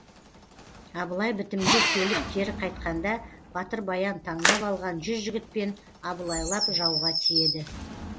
абылай бітімге келіп кері қайтқанда батыр баян таңдап алған жүз жігітпен абылайлап жауға тиеді